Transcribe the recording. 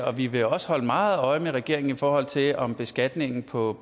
og vi vil også holde meget øje med regeringen i forhold til om beskatningen på